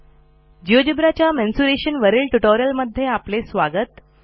GeoGebra च्या mensuration वरील ट्युटोरियमध्ये आपले स्वागत